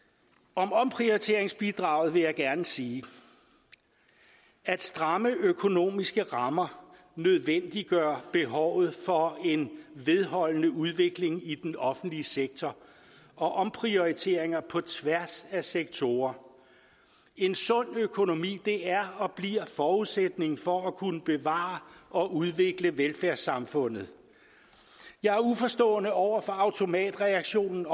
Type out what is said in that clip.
om omprioriteringsbidraget vil jeg gerne sige at stramme økonomiske rammer nødvendiggør behovet for en vedholdende udvikling i den offentlige sektor og omprioriteringer på tværs af sektorer en sund økonomi er og bliver forudsætningen for at kunne bevare og udvikle velfærdssamfundet jeg er uforstående over for automatreaktionen